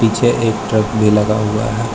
पीछे एक ट्रक भी लगा हुआ है।